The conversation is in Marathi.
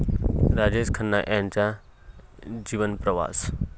राजेश खन्ना यांचा जीवनप्रवास